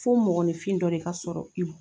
Fo mɔgɔninfin dɔ de ka sɔrɔ